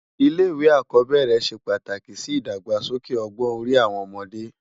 Ilé iwé ákòbèrè sé pátáki si idágbásóké ògbòn òri áwòn òmòdè